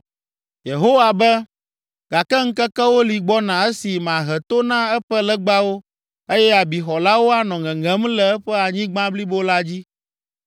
Yehowa be, “Gake ŋkekewo li gbɔna esi mahe to na eƒe legbawo eye abixɔlawo anɔ ŋeŋem le eƒe anyigba blibo la dzi.